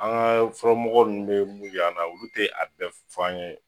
An ga fɔlɔ mɔgɔ nunnu be mun yir'an na olu te a bɛɛ fɔ an ye